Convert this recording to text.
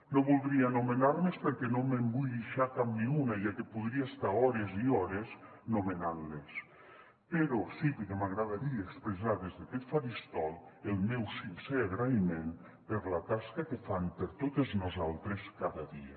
no voldria nomenar les perquè no me’n vull deixar cap ni una ja que podria estar hores i hores nomenant les però sí que m’agradaria expressar des d’aquest faristol el meu sincer agraïment per la tasca que fan per totes nosaltres cada dia